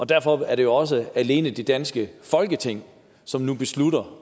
derfor er det jo også alene det danske folketing som nu beslutter